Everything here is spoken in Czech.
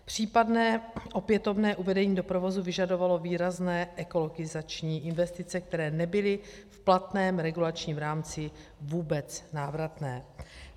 Případné opětovné uvedení do provozu vyžadovalo výrazné ekologizační investice, které nebyly v platném regulačním rámci vůbec návratné.